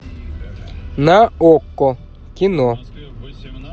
на окко кино